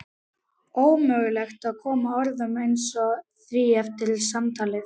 Ómögulegt að koma orðum að því eftir samtalið.